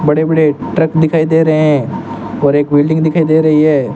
बड़े बड़े ट्रक दिखाई दे रहे हैं और एक बिल्डिंग दिखाई दे रही है।